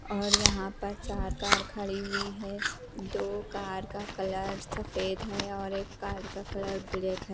और यहां पर चार कार खड़ी हुई है दो कार का कलर सफेद है और एक कार का कलर ब्लैक है।